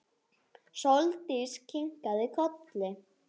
Sóldís kinkaði kolli.